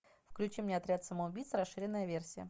включи мне отряд самоубийц расширенная версия